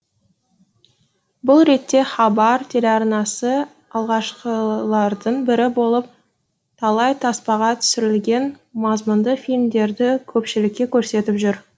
бұл ретте хабар телеарнасы алғашқылардың бірі болып талай таспаға түсірілген мазмұнды фильмдерді көпшілікке көрсетіп жүр